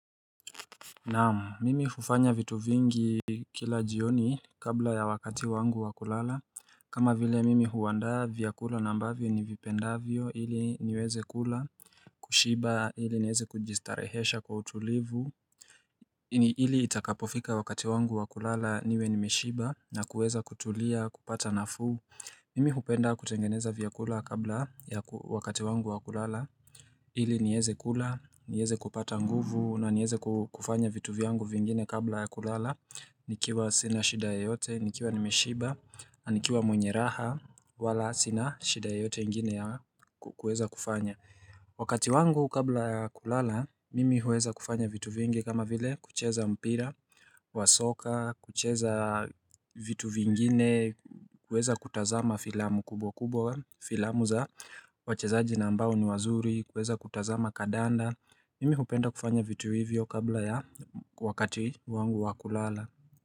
Naamu mimi hufanya vitu vingi kila jioni kabla ya wakati wangu wakulala kama vile mimi huwanda vya kula nambavyo ni vipenda vyo hili niweze kula kushiba hili nieze kujistarehesha kwa utulivu ni hili itakapofika wakati wangu wakulala niwe nimeshiba na kuweza kutulia kupata nafuu Mimi hupenda kutengeneza vya kula kabla ya wakati wangu wakulala Ili nieze kula, nieze kupata nguvu na nieze kufanya vitu viangu vingine kabla ya kulala Nikiwa sina shidae yote, nikiwa nimeshiba, anikiwa mwenye raha wala sina shida yoyote ingine ya kueza kufanya Wakati wangu kabla ya kulala, mimi huweza kufanya vitu vingi kama vile kucheza mpira, wasoka, kucheza vitu vingine Kweza kutazama filamu kubwa kubwa filamu za wachezaji nambao ni wazuri kweza kutazama kadanda mimi hupenda kufanya vitu hivyo kabla ya wakati wangu wakulala.